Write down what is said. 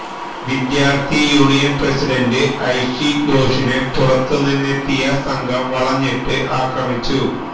വിദ്യാർത്ഥി union president Aishe ഘോഷിനെ പുറത്തുനിന്നെത്തിയ സംഘം വളഞ്ഞിട്ട് ആക്രമിച്ചു